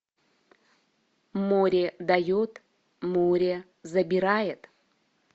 море дает море забирает